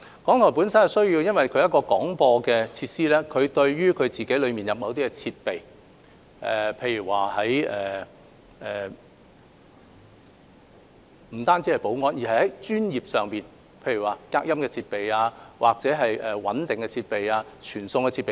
港台是一個廣播機構，對於內部的某些設備，不僅有保安上的要求，更有專業上的要求，例如隔音設備、穩定傳送設備等。